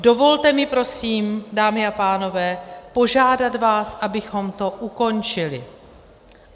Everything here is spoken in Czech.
Dovolte mi prosím, dámy a pánové, požádat vás, abychom to ukončili.